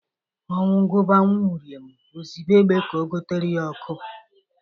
Ọnwu gụba nwauriom o zibe egbe ka ọ gutara ya ọkụ